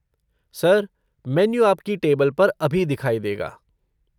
Sir, menu आपकी table पर अभी दिखाई देगा।